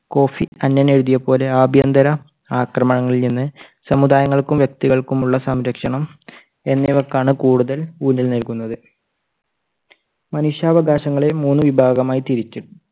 Coffee Annan എഴുതിയതുപോലെ ആഭ്യന്തര ആക്രമണങ്ങളിൽ നിന്ന് സമുദായങ്ങൾക്കും വ്യക്തികൾക്കും ഉള്ള സംരക്ഷണം എന്നിവയ്ക്കാണ് കൂടുതൽ ഊന്നൽ നൽകുന്നത്. മനുഷ്യാവകാശങ്ങളെ മൂന്ന് വിഭാഗമായി തിരിക്കും